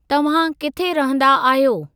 तव्हां किथे रहंदा आहियो?